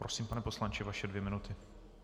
Prosím, pane poslanče, vaše dvě minuty.